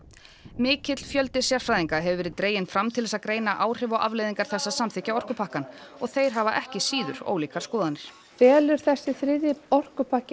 mikill fjöldi sérfræðinga hefur verið dreginn fram til að greina áhrif og afleiðingar þess að samþykkja orkupakkann og þeir hafa ekki síður ólíkar skoðanir felur þessi þriðji orkupakki